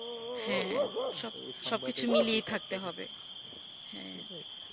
হ্যা সব কিছু মিলিয়েই থাকতে হবে হ্যা